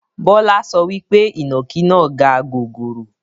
Bọlá so wípé ìnàkí náà gaa gogoro